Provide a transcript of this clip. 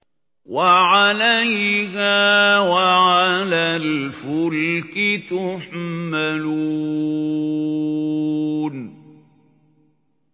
وَعَلَيْهَا وَعَلَى الْفُلْكِ تُحْمَلُونَ